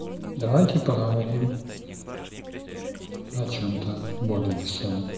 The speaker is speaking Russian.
давайте поговорим о чём-то более весомом